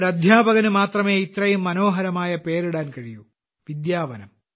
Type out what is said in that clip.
ഒരു അദ്ധ്യാപകന് മാത്രമേ ഇത്രയും മനോഹരമായ പേര് ഇടാൻ കഴിയൂ വിദ്യാവനം